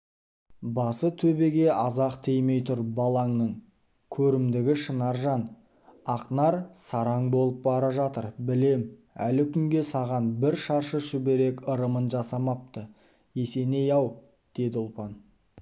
басы төбеге аз-ақ тимей тұр балаңның көрімдігі шынаржан ақнар сараң болып бара жатыр білем әлі күнге саған бір шаршы шүберек ырымын жасамапты есеней-ау деді ұлпан